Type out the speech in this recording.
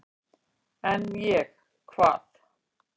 """En ég, hvað?"""